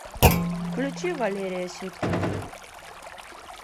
включи валерия сюткина